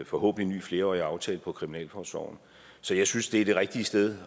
forhåbentlig ny flerårig aftale om kriminalforsorgen så jeg synes det er det rigtige sted